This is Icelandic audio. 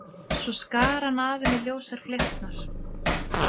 Svo skar hann af henni ljósar flétturnar.